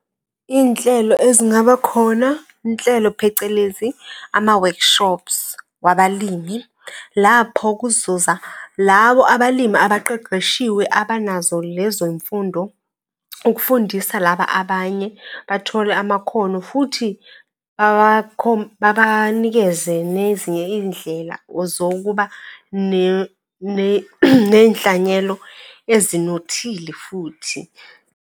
Iy'nhlelo ezingaba khona, inhlelo phecelezi ama-workshops wabalimi, lapho kuzoza lawo abalimi abaqeqeshiwe abanazo lezo yimfundo ukufundisa laba abanye bathole amakhono, futhi babanikeze nezinye iy'ndlela zokuba neyinhlanyelo ezinothile futhi.